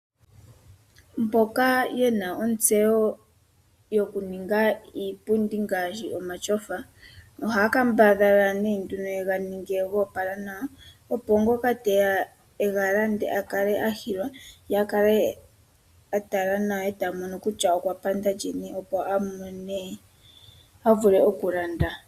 Mboka yena ontseyo yokuninga iipundi ngaashi omatyofa, ohaya kambadhala nee nduno yega ninge go opala nawa, opo ngoka teya e ga lande a kale a hilwa, ye a kale a tala nawa e ta mono kutya okwa panda lini, opo a mone a vule oku landa.